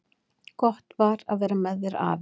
Gott var að vera með þér, afi.